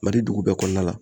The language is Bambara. Mali dugu bɛɛ kɔnɔna la.